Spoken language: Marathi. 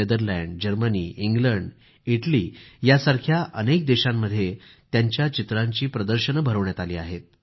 नेदरलँड जर्मनी इंग्लंड इटली यासारख्या अनेक देशांमध्ये त्यांच्या चित्रांचे प्रदर्शन भरवण्यात आली आहेत